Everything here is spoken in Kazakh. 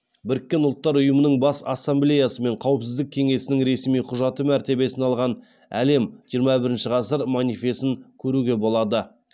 біріккен ұлттар ұйымының бас ассамблеясы мен қауіпсіздік кеңесінің ресми құжаты мәртебесін алған әлем жиырма бірінші ғасыр манифесін көруге болады